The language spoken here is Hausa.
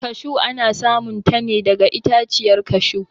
kashu ana samun ta ne daga itaciyar kashu